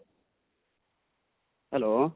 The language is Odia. hello